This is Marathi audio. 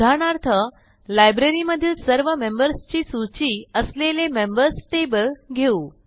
उदाहरणार्थ लायब्ररीमधील सर्व मेंबर्स ची सूची असलेले मेंबर्स टेबल घेऊ